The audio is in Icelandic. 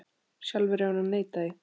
Sjálfur hefur hann neitað því.